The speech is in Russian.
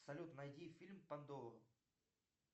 салют найди фильм пандора